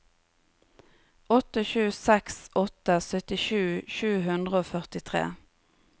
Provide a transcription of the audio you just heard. åtte sju seks åtte syttisju sju hundre og førtitre